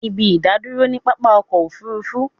A ní ibi ìdádúró ni pápá ọkọ̀ òfurufú